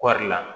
Kɔɔri la